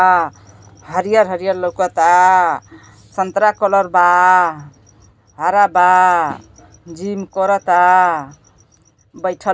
हरियर हरियर लौकता संतरा कलर बा हरा बा जिम करता बैठल बा।